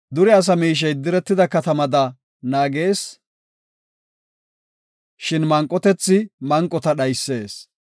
Dure asa miishey diretida katamada naagees; shin manqotethi manqota dhaysees.